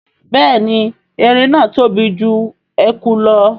Béèni èrin náa tóbi jù ẹkú lọ.